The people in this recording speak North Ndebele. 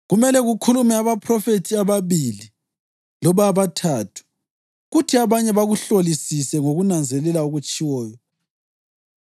Kumele kukhulume abaphrofethi ababili loba abathathu, kuthi abanye bakuhlolisise ngokunanzelela okutshiwoyo.